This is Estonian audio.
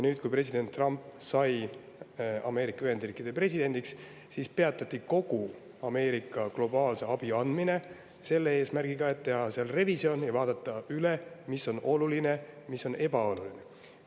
Kui president Trump sai Ameerika Ühendriikide presidendiks, peatati kogu globaalse abi andmine selle eesmärgiga, et teha revisjon ja vaadata üle, mis on oluline ja mis on ebaoluline.